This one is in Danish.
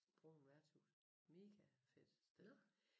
Brune værtshus mega fedt sted